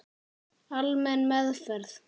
Almenn meðferð